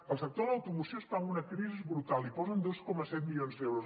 el sector de l’automoció està en una crisi brutal hi posen dos coma set milions d’euros